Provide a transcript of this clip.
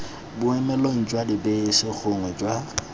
boemelong jwa dibese gongwe jwa